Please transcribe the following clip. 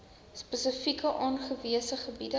spesifiek aangewese gebiede